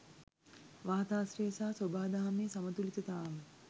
වාතාශ්‍රය සහ සොබාදහමේ සමතුලිතතාව.